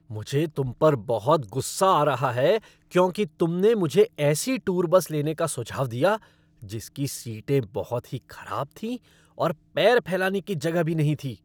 मुझे तुम पर बहुत गुस्सा आ रहा है क्योंकि तुमने मुझे ऐसी टूर बस लेने का सुझाव दिया जिसकी सीटें बहुत ही खराब थीं और पैर फैलाने की जगह भी नहीं थी।